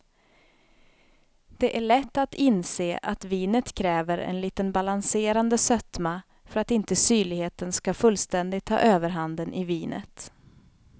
Det är lätt att inse att vinet kräver en liten balanserande sötma för att inte syrligheten skall fullständigt ta överhanden i vinet.